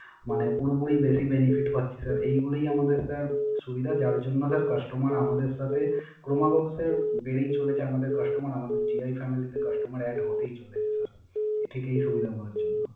মানে পুরোপুরি বেশি Benefit পাচ্ছি Sir এইগুলো আমাদের Sir সুবিধা যার জন্য Sir customer আমাদের সাথে ক্রমাগত Sir বেড়েই চলেছে। আমাদের Customer আমাদের টিআই Family তে Customer add হতেই চলেছে